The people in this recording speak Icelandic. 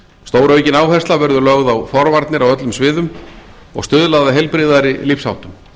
stóraukin áhersla verður lögð á forvarnir á öllum sviðum og stuðlað að heilbrigðari lífsháttum